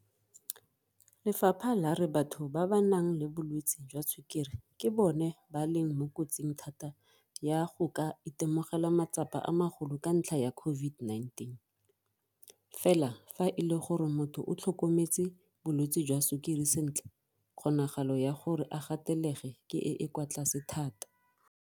Lefapha la re batho ba ba nang le bolwetse jwa sukiri ke bona ba leng mo kotsing thata ya go ka itemogela matsapa a magolo ka ntlha ya COVID-19, fela fa e le gore motho o tlhokometse bolwetse jwa sukiri sentle kgonagalo ya gore a gatelege ke e e kwa tlase thata.